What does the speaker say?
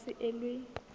kopo e ka se elwe